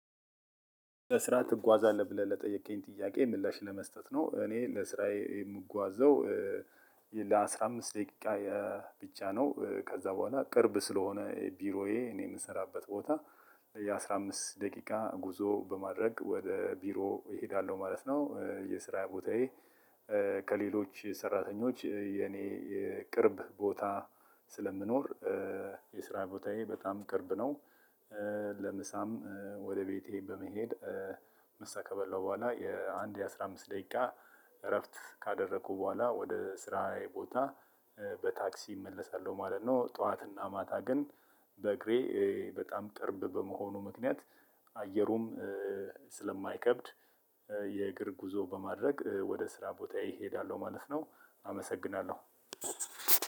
ለስራ ትጓዛለህ ብለህ ለጠየቀኝ ጥያቄ ምላሽ ለመስጠት ነው እኔ ለስራዬ የምጓዘው ለ አስራ አምስት ደቂቃ ብቻ ነው ከዛ በኋላ ቅርብ ስለሆነ ቢሮዬ እኔ የምሰራበት ቦታ የአስራ አምስት ደቂቃ ጉዞ በማድረግ ወደ ቢሮ እሄዳለሁ ማለት ነው። የስራ ቦታዬ ከሌሎች የሰራተኞች የኔ የቅርብ ቦታ ስለምኖር የስራ ቦታዬ በጣም ቅርብ ነው። ለምሳም ወደ ቤቴ በመሄድ ምሳ ከበላው በኋላ የአንድ የአስራ አምስት ደቂቃ እረፍት ካደረኩ በኋላ ወደ ስራዬ ቦታ በታክሲ እመለሳለሁ ማለት ነው። ጠዋትና ማታ ግን በእግሬ በጣም ቅርብ በመሆኑ ምክንያት አየሩም ስለማይከብድ የእግር ጉዞ በማድረግ ወደ ስራ ቦታዬ እሄዳለሁ ማለት ነው። አመሰግናለሁ።